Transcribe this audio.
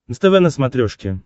нств на смотрешке